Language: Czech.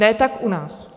Ne tak u nás.